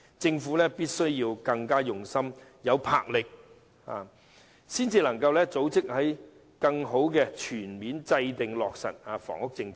政府必須更用心、有魄力、有組織，才能全面制訂及落實房屋政策。